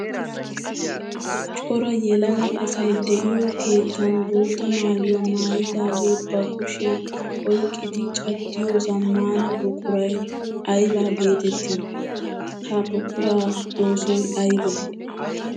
Cora yelaga asay de'iyo keettan bootta maayuwa maayidage ba kushiyan oyqqiddi caddiyo zamaana buquray aybba geetetti? Ha buqura oosoy aybbe?